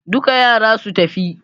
Duka yara su tafi!